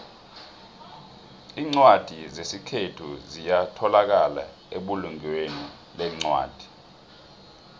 incwadi zesikhethu ziyatholakala ebulungweni lencwadi